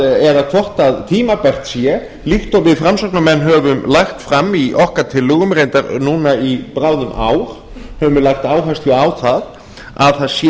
eða hvort að tímabært sé líkt og við framsóknarmenn höfum lagt fram í okkar tillögum reyndar núna í bráðum ár höfum við lagt áherslu á það að það sé